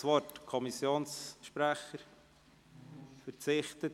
– Der Kommissionssprecher verzichtet.